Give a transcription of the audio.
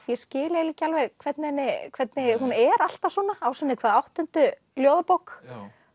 ég skil eiginlega ekki alveg hvernig hvernig hún er alltaf svona á sinni hvað áttundu ljóðabók